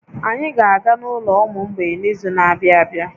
Anyị ga-aga n'ụlọ ụmụ mgbei n'izu na-abịa abịa